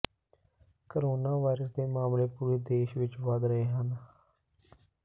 corona virus ਦੇ ਮਾਮਲੇ ਪੂਰੇ ਦੇਸ਼ ਵਿੱਚ ਵੱਧ ਰਹੇ ਹਨ